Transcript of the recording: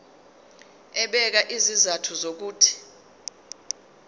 ebeka izizathu zokuthi